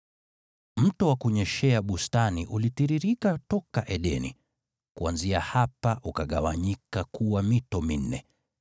Mto wa kunyeshea bustani ulitiririka toka Edeni, kuanzia hapa ukagawanyika kuwa mito minne.